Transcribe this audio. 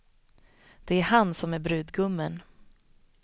Det är han som är brudgummen.